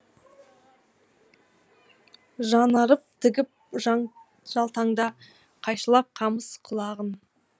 жанарын тігіп жалтаңға қайшылап қамыс құлағын